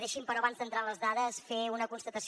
deixi’m però abans d’entrar en les dades fer una constatació